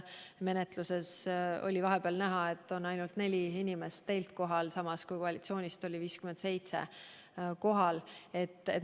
Menetluse ajal oli vahepeal näha, et oli teilt ainult neli inimest kohal, samas koalitsioonist oli kohal 57.